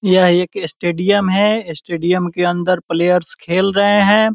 यह एक स्टेडियम है स्टेडियम के अंदर प्लेयर्स खेल रहे हैं ।